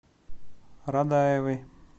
радаевой